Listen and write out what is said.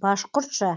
башқұртша